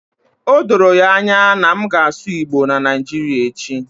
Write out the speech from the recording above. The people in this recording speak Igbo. Odoro anya na m ga-asụ igbo na Naijiria echi